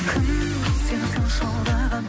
кім сені сонша алдаған